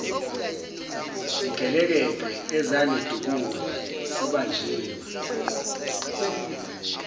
zigelekeqe ezangidubula sibanjiwe